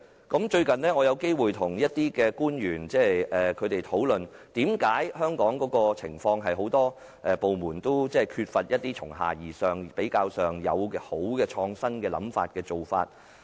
近日，我有機會與某些官員討論香港一些情況，就是為何政府很多部門都缺乏由下而上的創新想法和做法。